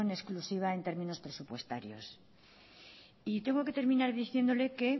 exclusiva en términos presupuestarios y tengo que terminar diciéndole que